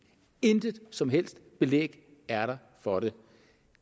intet som helst belæg er der for det